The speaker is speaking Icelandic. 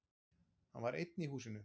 Hann var einn í húsinu.